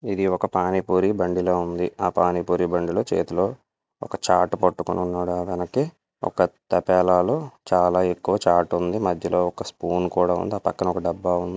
ఇది ఒక పానిపూరి బండి లా ఉంది ఆ పానీ పూరి బండిలో చేతిలో ఒక చాటు పట్టుకొని ఉన్నాడు ఆయన వెనక్కి ఒక తపాలాలో చాలా ఎక్కువ చాటు ఉంది మధ్యలో ఒక స్పూను కూడా ఉంది ఆ పక్కన ఒక డబ్బా ఉంది.